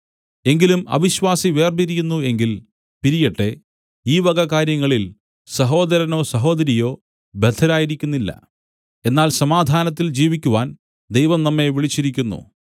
എങ്കിലും അവിശ്വാസി വേർപിരിയുന്നു എങ്കിൽ പിരിയട്ടെ ഈ വക കാ‍ര്യങ്ങളിൽ സഹോദരനോ സഹോദരിയോ ബദ്ധരായിരിക്കുന്നില്ല എന്നാൽ സമാധാനത്തിൽ ജീവിക്കുവാൻ ദൈവം നമ്മെ വിളിച്ചിരിക്കുന്നു